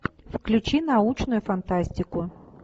включи научную фантастику